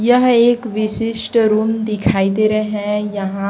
यह एक विशिष्ट रूम दिखाई दे रहे हैं यहां।